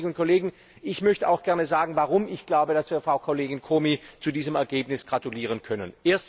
Liebe Kolleginnen und Kollegen, ich sage auch gern, warum ich glaube, dass wir Frau Kollegin Comi zu diesem Ergebnis gratulieren können.